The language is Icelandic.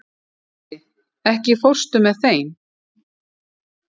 Issi, ekki fórstu með þeim?